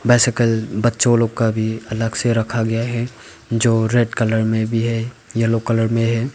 Bicycle बच्चों लोग का भी अलग से रखा गया है जो रेड कलर में भी है येलो कलर में है।